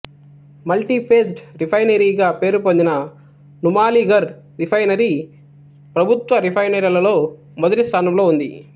multi faced రిఫైనరీగా పేరుపొందిన Numaligarh refinery ప్రభుత్వ రిఫైనరీలలో మొదటి స్థానంలో ఉంది